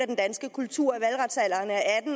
den danske kultur